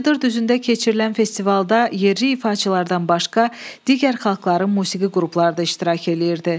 Cıdır düzündə keçirilən festivalda yerli ifaçılardan başqa digər xalqların musiqi qrupları da iştirak eləyirdi.